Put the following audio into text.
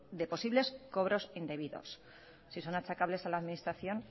de posibles cobros indebidos si son achacables a la administración